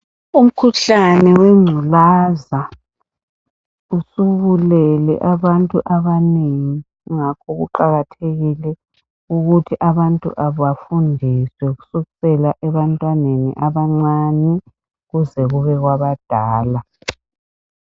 Umkhuhlane wengculaza usubulele abantu abanengi ngakho kuqakathekile ukuthi abantu bafundiswe kusukisela ebantweneni abancane kuze kube kwabadala.